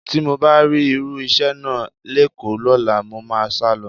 Tí mo bá rí irú iṣẹ́ náà lÉkòó lọ́la, mo máa sálọ